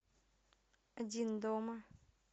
один дома